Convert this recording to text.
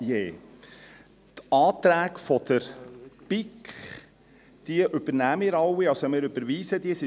Die Anträge der BiK übernehmen wir alle, wir überweisen diese.